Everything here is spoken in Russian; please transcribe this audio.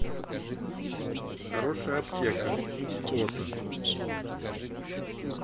хорошая аптека фото